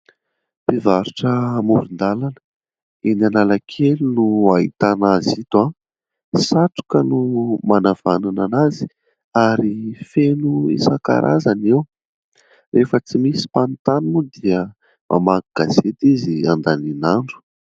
Mpivarotra amoron-dalana. Eny Analakely no ahitana azy ito ; satroka no manavanana anazy ary feno isan-karazany io. Rehefa tsy misy mpanontany moa dia mamaky gazety izy handaniana andro.